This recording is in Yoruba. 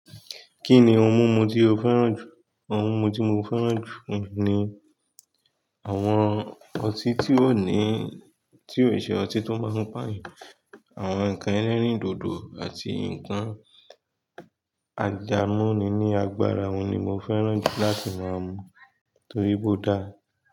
Kí ni ohun mímu tí o fẹ́ràn jù? Ohun mímu tí mo fẹ́ràn jù ni àwọn ọtí tí ó ní, tí ó ṣe ọtí tó máa ń pàyàn, àwọn ǹkan ẹlẹ́rìndòdò àti ǹkan àjàmúni ní agbára wọn ni mo fẹ́ràn jù láti máa mu torí po dá.